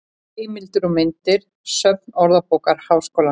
Heimildir og myndir: Söfn Orðabókar Háskólans.